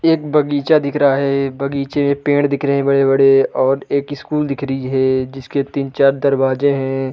एक बगीचा दिख रहा है। बगीचे में पेड़ दिख रहे हैं बड़े-बड़े और एक स्कूल दिख रही है जिसके तीन-चार दरवाजे हैं।